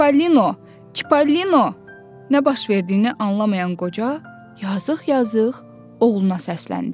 Çipalino, Çipalino nə baş verdiyini anlamayan qoca yazıq-yazıq oğluna səsləndi.